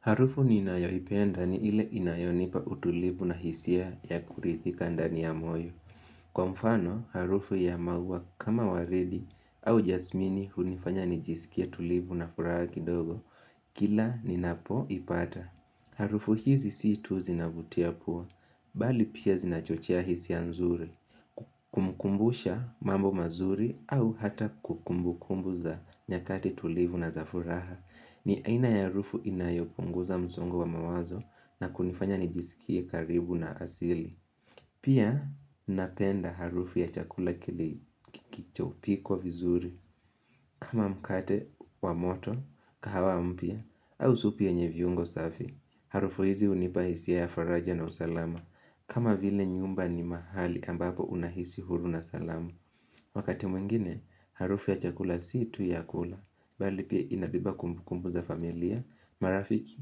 Harufu ninayoipenda ni ile inayonipa utulivu na hisia ya kuridhika ndani ya moyo. Kwa mfano, harufu ya maua kama waridi au jasmini hunifanya nijisikie tulivu na furaha kidogo. Kila ni napo ipata. Harufu hizi si tu zinavutia pua, bali pia zinachochea hisia nzuri. Kumkumbusha mambo mazuri au hata kumbu kumbu za nyakati tulivu na za furaha. Ni aina ya harufu inayopunguza msongo wa mawazo na kunifanya nijisikie karibu na asili Pia napenda harufu ya chakula kilichopikwa vizuri kama mkate wa moto, kahawa mpya, au supu yenye viungo safi Harufu hizi hunipa hisia ya faraja na usalama kama vile nyumba ni mahali ambapo unahisi huru na salamu Wakati mwingine, harufu ya chakula si tu ya kula Bali pia inabeba kumbu kumbu za familia, marafiki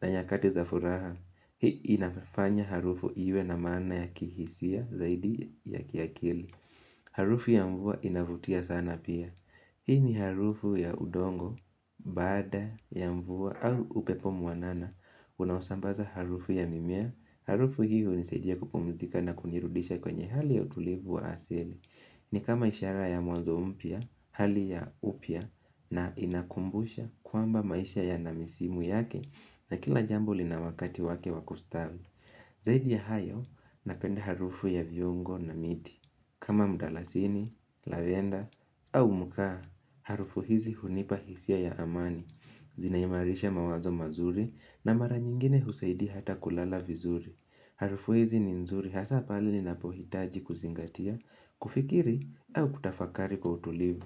na nyakati za furaha Hii inafanya harufu iwe na mana ya kihisia zaidi ya kiakili Harufu ya mvua inavutia sana pia Hii ni harufu ya udongo, baada ya mvua au upepo mwanana Unaosambaza harufu ya mimea Harufu hii hunisaidia kupumzika na kunirudisha kwenye hali ya utulivu wa asili ni kama ishara ya mwanzo mpya, hali ya upya na inakumbusha kwamba maisha yana misimu yake na kila jambo lina wakati wake wa kustawi. Zaidi ya hayo, napenda harufu ya viongo na miti. Kama mdalasini, lavenda au mkaa, harufu hizi hunipa hisia ya amani. Zinaimarisha mawazo mazuri na mara nyingine husaidia hata kulala vizuri. Harufu hizi ni nzuri hasa pale ni napohitaji kuzingatia, kufikiri, au kutafakari kwa utulivu.